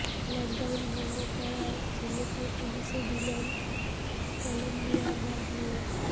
lockdown ভঙ্গ করায় ছেলেকে পুলিশে দিলেন কলাম্বিয়ার এক মেয়র